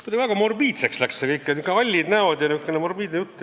Kuidagi väga morbiidseks läks see kõik – nihukesed hallid näod ja nihukene morbiidne jutt.